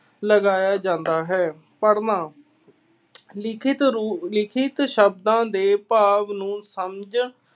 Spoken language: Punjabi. ਲਗਾਇਆ ਜਾਂਦਾ ਹੈ। ਪੜ੍ਹਨਾ। ਲਿਖਿਤ ਰੂੁ ਅਹ ਲਿਖਿਤ ਸ਼ਬਦਾਂ ਦੇ ਭਾਵ ਨੂੰ ਸਮਝ